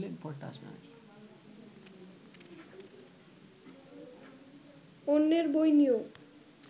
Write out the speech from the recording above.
অন্যের বই নিয়